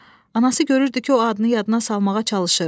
Anası görürdü ki, o adını yadına salmağa çalışır.